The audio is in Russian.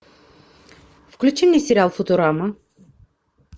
включи мне сериал футурама